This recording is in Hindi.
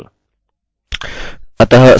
अतः मैं वापस जाता हूँ और फिर से कोशिश करता हूँ